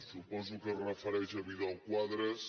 suposo que es refereix a vidal·quadras